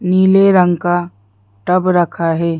नीले रंग का टब रखा है।